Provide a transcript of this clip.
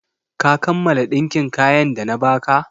Ka kammala ɗinkin kayan da na ba ka?